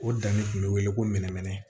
O danni tun bɛ wele ko mɛɛnmɛrɛn